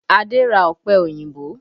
Adé ra ọpẹ òyìnbó